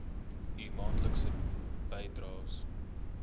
u maandelikse bydraes